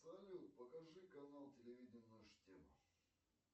салют покажи канал телевидения наша тема